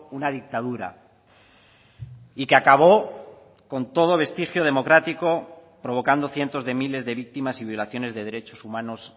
una dictadura y que acabó con todo vestigio democrático provocando cientos de miles de víctimas y violaciones de derechos humanos